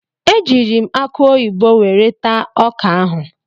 Ejiiri m akụ oyibo were taa ọka ahụ.